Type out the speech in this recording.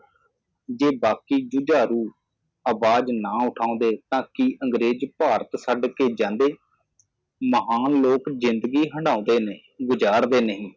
ਜੇ ਬਾਕੀ ਝੁਝਾਰੂ ਆਵਾਜ਼ ਨਾ ਉਠਾਉਂਦੇ ਤਾਂ ਕਿ ਅੰਗਰੇਜ਼ ਭਾਰਤ ਛੱਡ ਕੇ ਜਾਂਦੇ ਮਹਾਨ ਲੋਕ ਜਿੰਦਗੀ ਹੰਢਾਉਂਦੇ ਨੇ ਗੁਜਾਰਦੇ ਨਹੀ